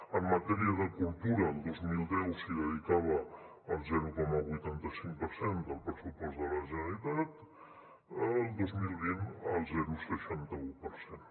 en matèria de cultura el dos mil deu s’hi dedicava el zero coma vuitanta cinc per cent del pressupost de la generalitat el dos mil vint el zero coma seixanta un per cent